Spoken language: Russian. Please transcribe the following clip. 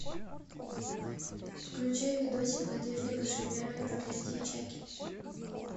включай видосик надежды кошеверовой проклятье чаки